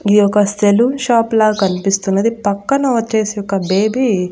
యోగస్తేలు shop లా కనిపిస్తున్నది పక్కన వచ్చేసి ఒక బేబీ .